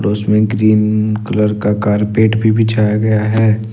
इसमें green colour का carpet भी बिछाया गया है।